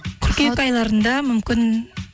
қыркүйек айларында мүмкін